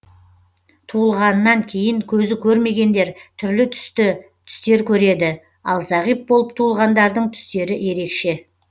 туылғанынан кейін көзі көрмегендер түрлі түсті түстер көреді ал зағип болып туылғандардың түстері ерекше